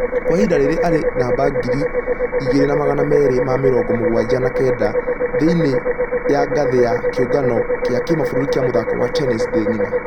Kwa ihinda rĩrĩ arĩ namba ngiri igĩrĩ na magana merĩ ma mĩrongo mũgwaja na kenda thĩinĩ ya ngathĩ ya kĩũngano gĩa kĩmabũrũri gĩa mũthako wa tennis thĩ ngima.